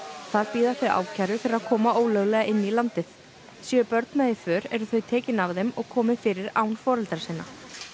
þar bíða þau ákæru fyrir að koma ólöglega inn í landið séu börn með í för eru þau tekin af þeim og komið fyrir án foreldra sinna